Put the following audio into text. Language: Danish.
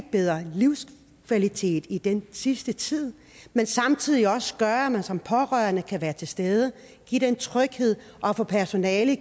bedre livskvalitet i den sidste tid men samtidig også gøre at man som pårørende kan være til stede give den tryghed og for personalet